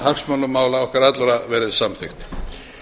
hagsmunamál okkar allra verði samþykkt